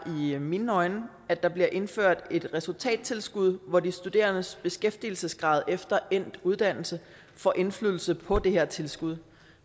i mine øjne at der bliver indført et resultattilskud hvor de studerendes beskæftigelsesgrad efter endt uddannelse får indflydelse på det her tilskud